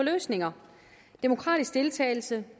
løsninger demokratisk deltagelse